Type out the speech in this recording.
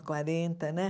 quarenta, né?